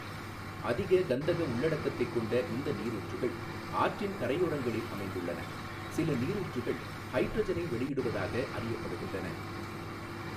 அதிக கந்தக உள்ளடக்கத்தைக் கொண்ட இந்த நீரூற்றுகள் ஆற்றின் கரையோரங்களில் அமைந்துள்ளன, சில நீரூற்றுகள் ஹைட்ரஜனை வெளியிடுவதாக அறியப்படுகின்றன.